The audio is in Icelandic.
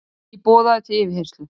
Ekki boðaður til yfirheyrslu